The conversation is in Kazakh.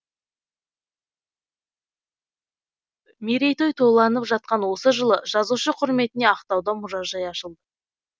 мерейтой тойланып жатқан осы жылы жазушы құрметіне ақтауда мұражай ашылды